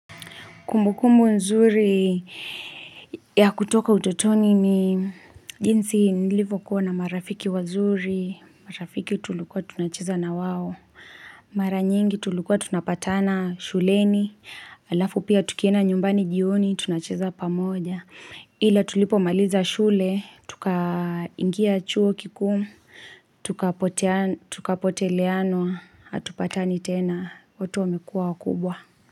Kumbukumbu nzuri ya kutoka utotoni ni jinsi nilivyo kuwa na marafiki wazuri, marafiki tulikua tunacheza na wao, mara nyingi tulikua tunapatana shuleni, alafu pia tukienda nyumbani jioni tunacheza pamoja. Ila tulipo maliza shule, tuka ingia chuo kikuu, tukapoteleanwa, hatupatani tena, watu wamekua wakubwa.